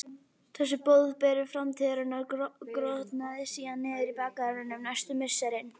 Þessi boðberi framtíðarinnar grotnaði síðan niður í bakgarðinum næstu misserin.